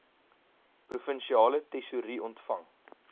provinsiale tesourie ontvang